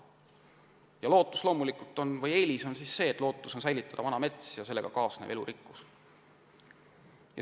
Eelis on aga loomulikult see, et lootus on säilitada vana mets ja sellega kaasnev elurikkus.